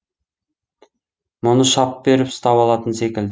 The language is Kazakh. мұны шап беріп ұстап алатын секілді